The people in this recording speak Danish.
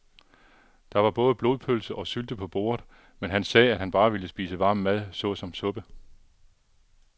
Der var både blodpølse og sylte på bordet, men han sagde, at han bare ville spise varm mad såsom suppe.